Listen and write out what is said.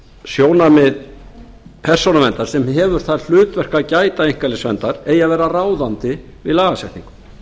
sjónarmið persónuverndar sem hefur það hlutverk að gæta einkalífsverndar eigi að vera ráðandi við lagasetningu